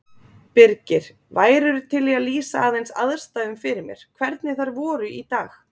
Birgir, værirðu til í að lýsa aðeins aðstæðum fyrir mér, hvernig þær voru í dag?